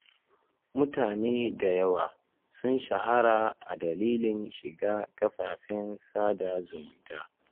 Mutane da yawa sun shahara a dalilin shiga kafafen sada zumunta.